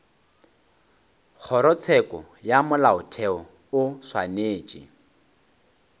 kgorotsheko ya molaotheo o swanetše